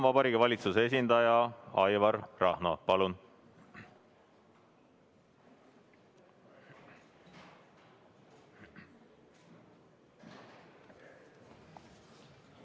Vabariigi Valitsuse esindaja Aivar Rahno, palun!